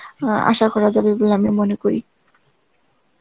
আ~ আসা করা যাবে বলে আমি মনে করি.